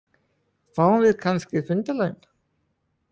Fáum við kannski fundarlaun?